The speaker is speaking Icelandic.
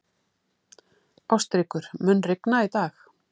Ástríkur, mun rigna í dag?